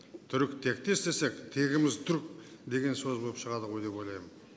түріктектес десек тегіміз түрік деген сөз болып шығады ғой деп ойлаймын